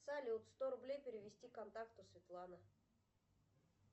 салют сто рублей перевести контакту светлана